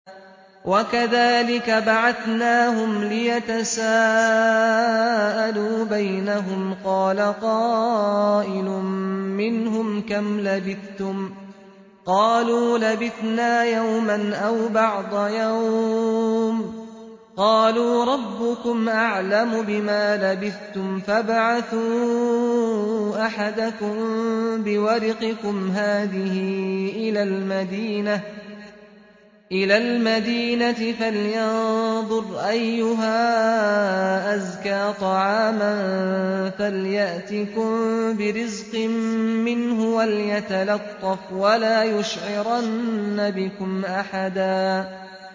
وَكَذَٰلِكَ بَعَثْنَاهُمْ لِيَتَسَاءَلُوا بَيْنَهُمْ ۚ قَالَ قَائِلٌ مِّنْهُمْ كَمْ لَبِثْتُمْ ۖ قَالُوا لَبِثْنَا يَوْمًا أَوْ بَعْضَ يَوْمٍ ۚ قَالُوا رَبُّكُمْ أَعْلَمُ بِمَا لَبِثْتُمْ فَابْعَثُوا أَحَدَكُم بِوَرِقِكُمْ هَٰذِهِ إِلَى الْمَدِينَةِ فَلْيَنظُرْ أَيُّهَا أَزْكَىٰ طَعَامًا فَلْيَأْتِكُم بِرِزْقٍ مِّنْهُ وَلْيَتَلَطَّفْ وَلَا يُشْعِرَنَّ بِكُمْ أَحَدًا